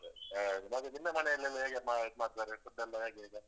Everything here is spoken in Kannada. ಹೌದು. ಆ ಮತ್ತೆ ನಿಮ್ಮ ಮನೆಲ್ಲಿ ಎಲ್ಲ ಹೇಗೆ ಮಾ~ ಇದ್ ಮಾಡ್ತಾರೆ food ಎಲ್ಲ ಹೇಗೆ ಈಗ?